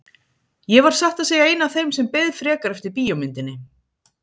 Ég var satt að segja ein af þeim sem beið frekar eftir bíómyndinni.